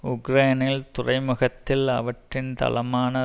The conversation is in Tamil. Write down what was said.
உக்ரைனின் துறைமுகத்தில் அவற்றின் தளமான